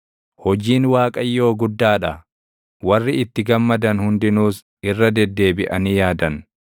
Hojiin Waaqayyoo guddaa dha; warri itti gammadan hundinuus irra deddeebiʼanii yaadan.